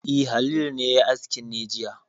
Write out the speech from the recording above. E, Halilu ne ya yi aski ne jiya.